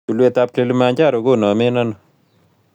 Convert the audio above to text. Tulwetap kilimanjaro konomen ano